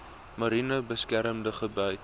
mariene beskermde gebied